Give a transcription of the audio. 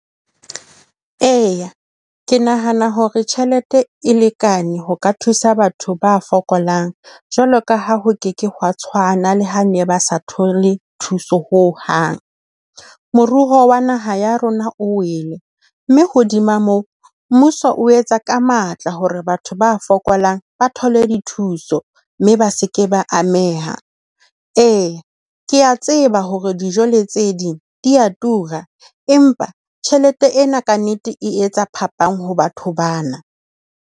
Eya. Ke nahana hore tjhelete e lekane ho ka thusa batho ba fokolang jwalo ka ha ho ke ke hwa tshwana le ha ne ba sa thole thuso ho hang. Moruo wa naha ya rona o wele, mme hodima moo, mmuso o etsa ka matla hore batho ba fokolang ba thole dithuso mme ba se ke ba ameha. Ee, ke a tseba hore dijo le tse ding di a tura empa tjhelete ena ka nnete e etsa phapang ho batho bana.